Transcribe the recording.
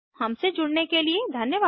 हमसे जुड़ने के लिए धन्यवाद